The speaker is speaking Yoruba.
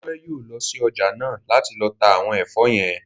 Dúpẹ́ yóò lọ sí ọjà náà láti lọ ta àwọn ẹ̀fọ́ yẹn